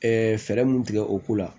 fɛɛrɛ mun tigɛ o ko la